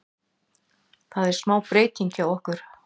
Það er smá breytingar hjá okkur.